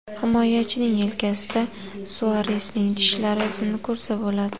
Himoyachining yelkasida Suaresning tishlari izini ko‘rsa bo‘ladi.